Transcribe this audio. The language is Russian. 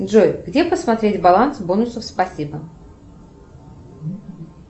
джой где посмотреть баланс бонусов спасибо